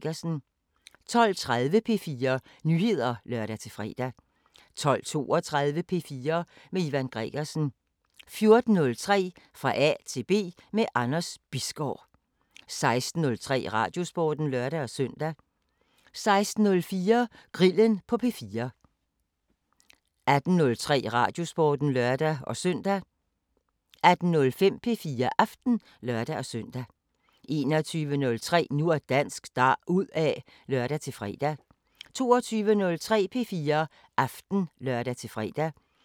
05:00: 24syv Nyheder (lør-fre) 05:05: Nattevagten Highlights (lør og tir-fre) 06:00: 24syv Nyheder (lør-fre) 06:05: Hipster Glistrup – sammendrag (lør-søn) 07:00: 24syv Nyheder (lør-fre) 07:05: Fitness M/K 08:00: 24syv Nyheder (lør-fre) 08:05: Det Næste Kapitel (G) 09:00: 24syv Nyheder (lør-fre) 09:05: Det Næste Kapitel (G)